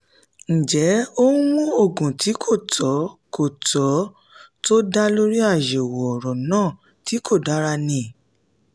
ǹjẹ́ ó ń mu òògùn tí kò tọ́ kò tọ́ tó dá lórí àyẹ̀wò ọ̀rọ̀ náà tí kò dára ni?